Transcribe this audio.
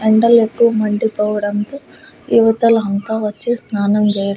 ఎండలు ఎక్కువ మండిపోవడంతో ఇవతల అంతా వచ్చి స్నానం చేస్తున్నారు.